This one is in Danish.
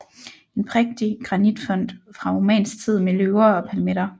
En prægtig granitfont fra romansk tid med løver og palmetter